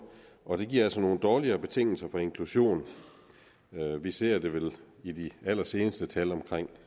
og det giver altså nogle dårligere betingelser for inklusion vi ser det vel i de allerseneste tal